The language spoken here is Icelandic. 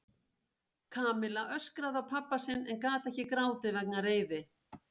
Kamilla öskraði á pabba sinn en gat ekki grátið vegna reiði.